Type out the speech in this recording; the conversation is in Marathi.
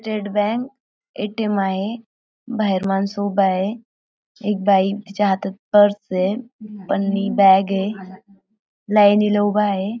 State bank ATM. आहे. बाहेर माणसं उभा आहे. एक बाई तिच्या हातात पर्स आहे. पन्नी बॅग आहे. लायनीला उभा आहे.